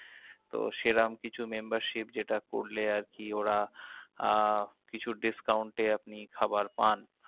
তো সেরম কিছু membership যেটা করলে আরকি ওরা আহ কিছু discount এ আপনি খাবার পান।